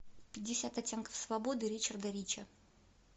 пятьдесят оттенков свободы ричарда рича